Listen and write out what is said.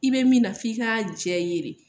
I be min na f'i ka diya i ye de.